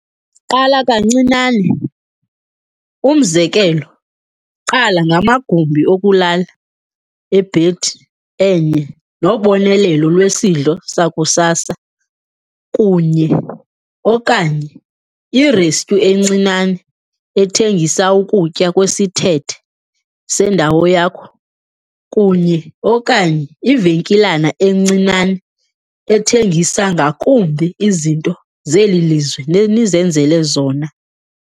Qala kancinane, umzekelo, qala ngamagumbi okulala ebhedi enye nobonelelo lwesidlo sakusasa kunye - okanye irestyu encinane ethengisa ukutya kwesithethe sendawo yakho kunye - okanye ivenkilana encinane ethengisa ngakumbi izinto zeli lizwe nenizenzele zona.